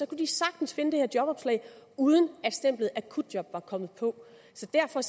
kunne de sagtens finde det her jobopslag uden at stemplet akutjob var kommet på så derfor